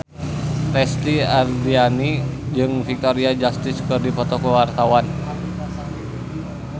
Lesti Andryani jeung Victoria Justice keur dipoto ku wartawan